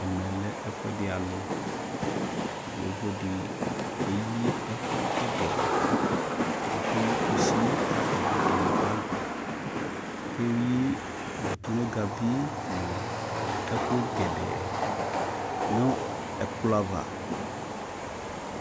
Ɛmɛ lɛ ɛfuɛdi alʋ Yovo di keyi ɛkʋ gɛdɛɛ Okeyi kusi ka atani ayɔkele bagi Okeyi ɔ tʋnʋgavi nʋ ɔ ɛkʋ gɛdɛɛ nʋ ɛkplɔ ava